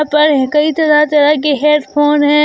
पर कई तरह तरह की हेडफोन है।